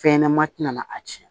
Fɛn ɲɛnɛma ti na a tiɲɛ